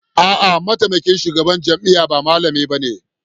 A'a, mataimakin shugaban jami'a ba malami bane